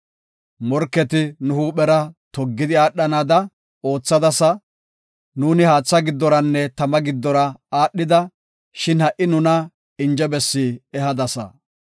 Morketi nu huuphera toggidi aadhanada oothadasa; Nu haatha giddoranne tama giddora aadhida; shin ha77i nuna inje bessi ehadasa.